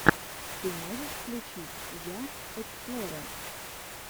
ты можешь включить я эксплорэ